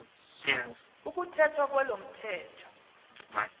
ukuthethwa kwalo mthetho